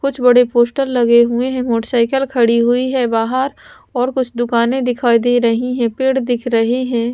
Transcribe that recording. कुछ बड़े पोस्टर लगे हुएं हैं मोटरसाइकिल खड़ी हुईं हैं बाहर और कुछ दुकानें दिखाई दे रहीं हैं पेड़ दिख रहें हैं।